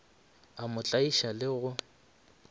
a mo tlaiša le go